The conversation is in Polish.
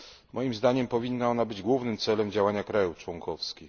Moim zdaniem powinna być ona głównym celem działania krajów członkowskich.